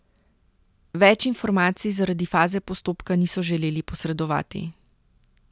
Več informacij zaradi faze postopka niso želeli posredovati.